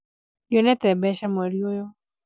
ndionete mbeca mweri ũyũ